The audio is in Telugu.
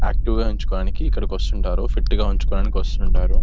ఆక్టివ్ గా ఉంచుకోడానికి ఇక్కడికి వస్తుంటారు ఫిట్ గా ఉంచుకోవడానికి ఎక్కడికి వస్తూవుంటారు --